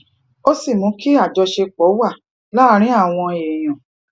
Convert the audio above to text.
ó sì mú kí àjọṣe wà láàárín àwọn èèyàn